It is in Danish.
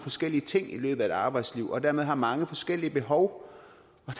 forskellige ting i løbet af deres arbejdsliv og dermed har mange forskellige behov